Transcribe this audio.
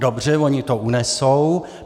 Dobře, oni to unesou.